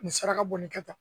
Nin saraka bɔ nin kɛ tan